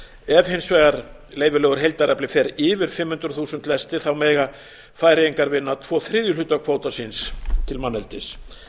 ef hins vegar leyfilegur heildarafli fer yfir fimm hundruð þúsund lestir mega færeyingar vinna tvo þriðju hluta kvóta síns til manneldis